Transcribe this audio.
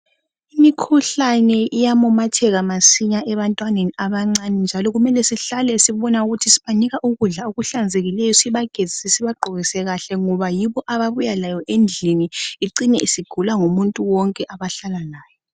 Imikhuhlane iyamemetheka masinya ebantwaneni abancane njalo kumele sihlale sibona ukuthi sibanika ukudla kuhlanzekileyo sibagezise sibagqokise kahle ngoba yibo ababuya labo endlini icine isigula ngumuntu wonke abahlala laye.